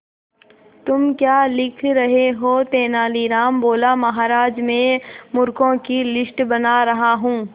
तुम क्या लिख रहे हो तेनालीराम बोला महाराज में मूर्खों की लिस्ट बना रहा हूं